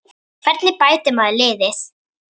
Hvernig bætir maður liðið?